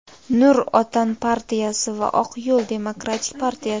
"Nur Otan" partiyasi va "Oq yo‘l" demokratik partiyasi.